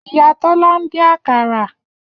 Iya Tola n din akara.